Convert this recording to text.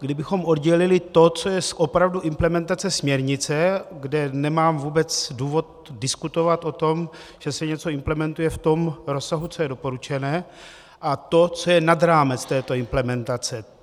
kdybychom oddělili to, co je opravdu implementace směrnice, kde nemám vůbec důvod diskutovat o tom, že se něco implementuje v tom rozsahu, co je doporučené, a to, co je nad rámec této implementace.